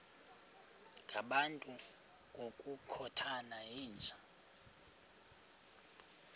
ngabantu ngokukhothana yinja